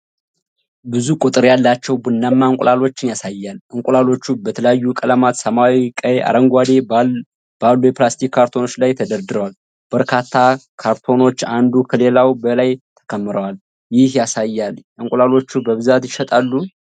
ብዙ ቁጥር ያላቸው ቡናማ እንቁላሎችን ያሳያል። እንቁላሎቹ በተለያዩ ቀለማት (ሰማያዊ፣ ቀይ፣ አረንጓዴ) ባሉ የፕላስቲክ ካርቶኖች ላይ ተደርድረዋል። በርካታ ካርቶኖች አንዱ ከሌላው በላይ ተከምረዋል። ይህ ያሳያል እንቁላሎች በብዛት ይሸጣሉ?